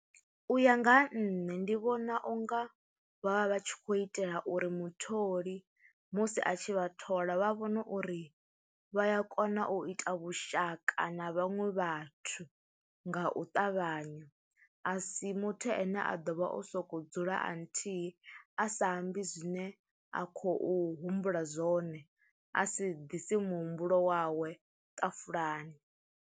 U ya nga ha nṋe ndi vhona u nga vha vha vha tshi khou itela uri mutholi musi a tshi vha thola vha vhone uri vha ya kona u ita vhushaka na vhaṅwe vhathu nga u ṱavhanya, a si muthu ane a ḓo vha o soko dzula a nthihi a sa ambi zwine a khou humbula zwone a si ḓisi muhumbulo wawe ṱafulani.